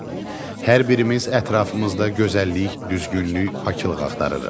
Hər birimiz ətrafımızda gözəllik, düzgünlük, paklıq axtarırıq.